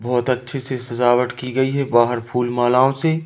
बहुत अच्छी सी सजावट की गई है बाहर फूल मालाओं से।